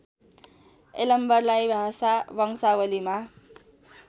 यलम्बरलाई भाषा वंशावलीमा